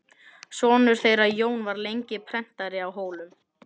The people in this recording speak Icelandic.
Sonur þeirra Jón var lengi prentari á Hólum.